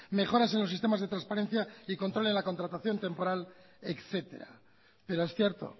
mejoras en los sistemas de transparencia y control en la contratación temporal etcétera pero es cierto